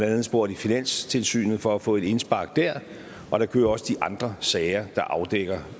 andet spurgt i finanstilsynet for at få et indspark der og der kører også de andre sager der afdækker